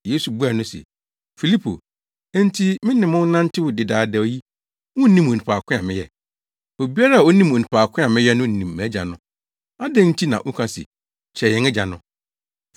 Yesu buaa no se, “Filipo, enti me ne mo nantewee dedaada yi, wunnim onipa ko a meyɛ? Obiara a onim onipa ko a meyɛ no nim mʼAgya no. Adɛn nti na woka se, ‘Kyerɛ yɛn Agya’ no?